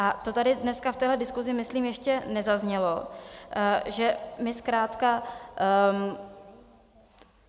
A to tady dneska v téhle diskusi myslím ještě nezaznělo, že my zkrátka...